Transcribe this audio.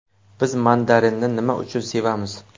Biz mandarinni nima uchun sevamiz?.